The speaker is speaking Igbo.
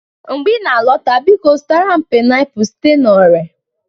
mgbe ị na-alọta, biko zụtara m painiapulu site na ore